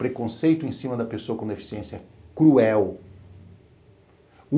preconceito em cima da pessoa com deficiência cruel.